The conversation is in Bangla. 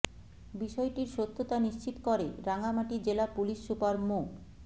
বিষয়টির সত্যতা নিশ্চিত করে রাঙামাটি জেলা পুলিশ সুপার মো